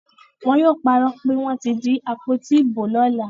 Wọn yóò parọ́ pé wọ́n ti jí àpótí ìbò lọ́la.